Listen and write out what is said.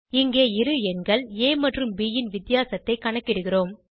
இங்கே இரு எண்கள் ஆ மற்றும் ப் ன் வித்தியாசத்தை கணக்கிடுகிறோம்